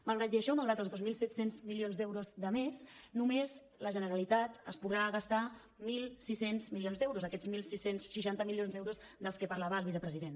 malgrat això malgrat els dos mil set cents milions d’euros de més només la generalitat es podrà gastar mil sis cents milions d’euros aquests setze seixanta milions d’euros dels que parlava el vicepresident